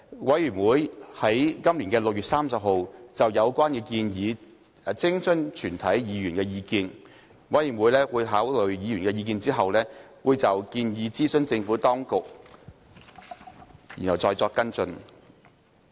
委員會已於今年6月30日就有關建議徵詢全體議員的意見，委員會在考慮議員的意見後，會就建議諮詢政府當局，然後再作跟進。